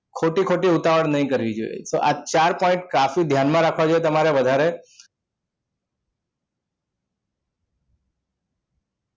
ખોટી ખોટી ઉતાવળ નહીં કરીએ તો આ ચાર point કાફી છે ધ્યાનમાં રાખવા જોઈએ તમારે વધારે